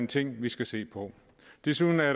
ting vi skal se på desuden er